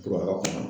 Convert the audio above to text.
Kura kɔnɔ